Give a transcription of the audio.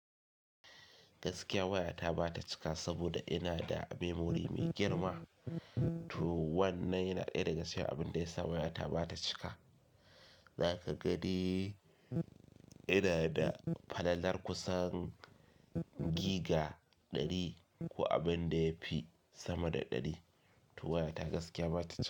Gaskiya waya ta ba ta cika saboda ina da memory mai girma. To wannan yana ɗaya daga cikin abin da ya sa waya ta ba ta cika. Zaka ga dai ina da falalar kusan giga ɗari ko abin da ya fi sama da ɗari. To waya ta gaskiya ba ta cika.